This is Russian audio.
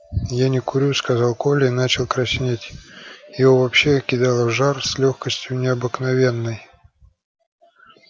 я не курю сказал коля и начал краснеть его вообще кидало в жар с лёгкостью необыкновенной